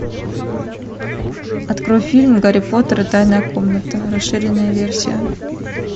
открой фильм гарри поттер и тайная комната расширенная версия